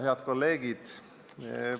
Head kolleegid!